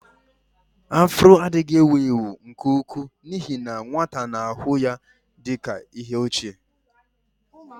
Afro adịghị ewu ewu nke ukwuu n'ihi na nwata na-ahụ ya dị ka ihe ochie.